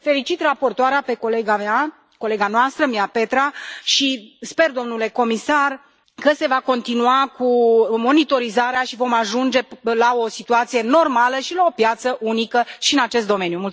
Felicit raportoarea, pe colega mea, colega noastră, Miapetra, și sper, domnule comisar, că se va continua cu monitorizarea și vom ajunge la o situație normală și la o piață unică și în acest domeniu.